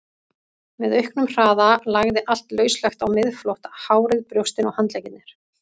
Með auknum hraða lagði allt lauslegt á miðflótta, hárið, brjóstin, handleggirnir.